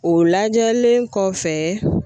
O lajɛlen kɔfɛ